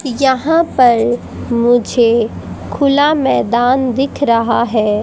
यहां पर मुझे खुला मैदान दिख रहा है।